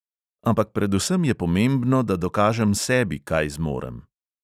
Ampak predvsem je pomembno, da dokažem sebi, kaj zmorem.